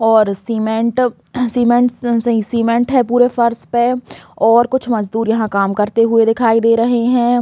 और cement cements नहीं cement है पूरे फर्स पे और कुछ मजदुर यहाँ काम करते हुए दिखाई दे रहे है।